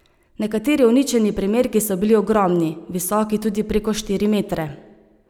Nekateri uničeni primerki so bili ogromni, visoki tudi preko štiri metre.